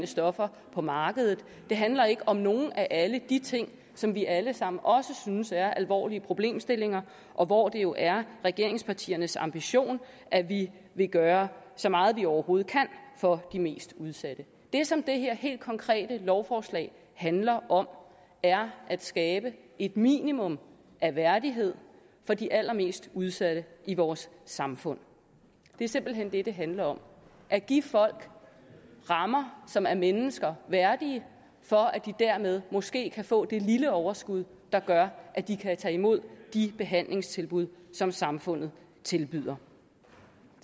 stoffer på markedet det handler ikke om nogle af alle de ting som vi alle sammen også synes er alvorlige problemstillinger og hvor det jo er regeringspartiernes ambition at vi vil gøre så meget som vi overhovedet kan for de mest udsatte det som det her helt konkrete lovforslag handler om er at skabe et minimum af værdighed for de allermest udsatte i vores samfund det er simpelt hen det det handler om at give folk rammer som er mennesker værdige for at de dermed måske kan få det lille overskud der gør at de kan tage imod de behandlingstilbud som samfundet tilbyder